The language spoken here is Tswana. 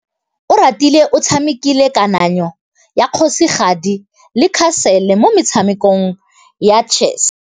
Oratile o tshamekile kananyô ya kgosigadi le khasêlê mo motshamekong wa chess.